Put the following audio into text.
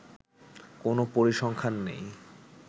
কোন পরিসংখ্যান নেই